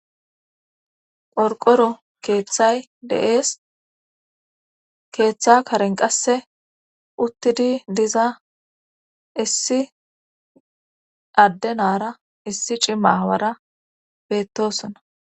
qorqoro keeththay de'ees keeththa karen qasse uttidi diza issi addenaara issi cimma aawara beettosona